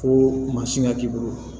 Ko mansin ŋa k'i bolo